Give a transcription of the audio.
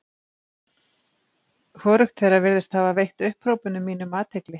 Hvorugt þeirra virðist hafa veitt upphrópunum mínum athygli.